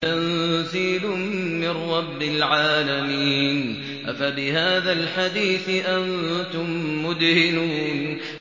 تَنزِيلٌ مِّن رَّبِّ الْعَالَمِينَ